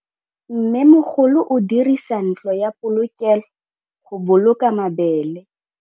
Mmêmogolô o dirisa ntlo ya polokêlô, go boloka mabele.